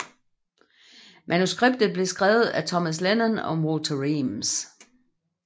Manuskriptet blev skrevet af Thomas Lennon og Walter Weems